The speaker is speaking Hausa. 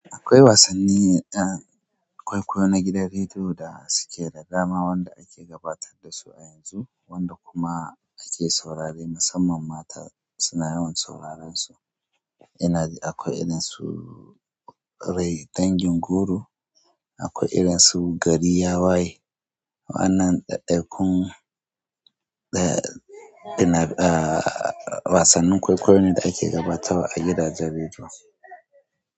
Akwai wasanni, eh, kwaikwayo na gidan rediyo da suke da dama wanda ake gabatar da su a yanzu wanda kuma ake saurare. Musamman mata suna yawan sauraren su. Ina, akwai irin su rai dangin goro, akwai irin su gari ya waye. Waannan ɗaiɗaikun da ina, eh, wasannin kwaikwayon ne da ake gabatarwa a gidajen rediyo.